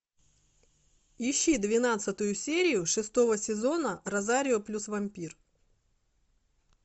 ищи двенадцатую серию шестого сезона розарио плюс вампир